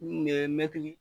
U kun ye mɛtiri